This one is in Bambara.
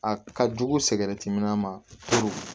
A ka jugu min ma ko